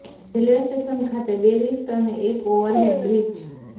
railway station ખાતે ર lift અને એક ઓવરહેડ બ્રિજ